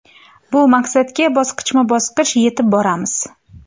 Bu maqsadga bosqichma-bosqich yetib boramiz.